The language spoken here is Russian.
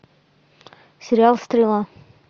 сериал стрела